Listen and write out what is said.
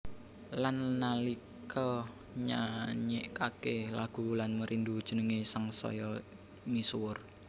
Lan nalika nyanyékaké lagu Wulan Merindu jenengé sangsaya misuwur